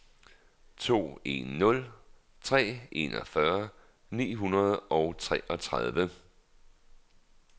to en nul tre enogfyrre ni hundrede og treogtredive